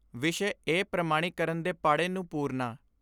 ਵਿਸ਼ੇ ਏ ਪ੍ਰਮਾਣੀਕਰਨ ਦੇ ਪਾੜੇ ਨੂੰ ਪੂਰਨਾ।